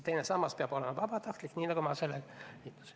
Teine sammas peab olema vabatahtlik, nii nagu sellega liituminegi.